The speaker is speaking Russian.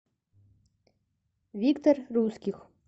виктор русских